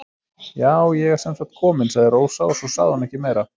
Já, ég er sem sagt komin, sagði Rósa og svo sagði hún ekki meira.